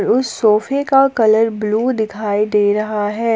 उस सोफे का कलर ब्लू दिखाई दे रहा है।